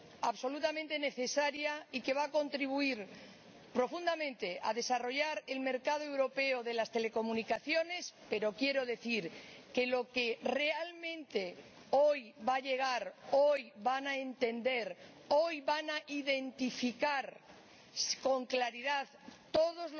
absolutamente necesaria y que va a contribuir profundamente a desarrollar el mercado europeo de las telecomunicaciones, pero quiero decir que lo que realmente hoy va a llegar a todos los consumidores europeos, lo que hoy van a entender, hoy van a identificar con claridad todos